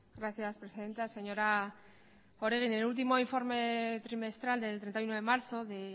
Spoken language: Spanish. gracias presidenta señora oregi en el último informe trimestral del treinta y uno de marzo de